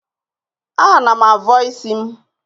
Ana m avọ isi m.